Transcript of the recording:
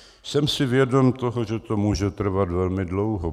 Jsem si vědom toho, že to může trvat velmi dlouho.